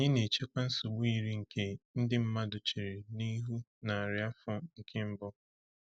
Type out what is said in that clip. Anyị na-echekwa nsogbu yiri nke ndị mmadụ chere n’ihu narị afọ nke mbụ.